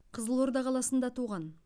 қызылорда қаласында туған